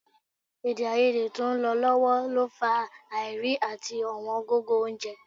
Èdèàìyedè tó ń lọ lọ́wọ́ lọ fà á àìrí àti ọ̀wọ́n gógó oúnjẹ